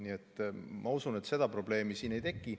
Nii et ma usun, et probleemi ei teki.